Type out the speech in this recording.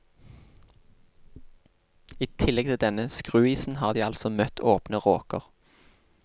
I tillegg til denne skruisen har de altså møtt åpne råker.